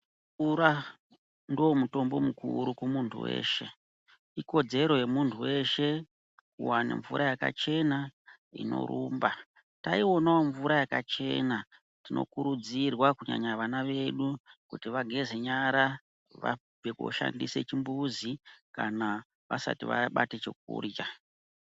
Mvura ndoomutombo mukurumba kumunhu weshe. Ikodero yemuntu weshe kuwana mvura yakachena inorumba mvura yakachena. Aionawo mvura yakachenainokurudzirwa kuti vana vedu vageze nyara Vance koshandise chimbuzi kana kuti vasati vabate chekurya.